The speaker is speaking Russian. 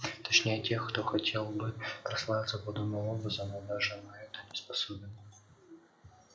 точнее тех кто хотел бы прославиться подобным образом но даже на это не способен